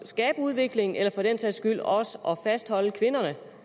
skabe udvikling eller for den sags skyld også at fastholde kvinderne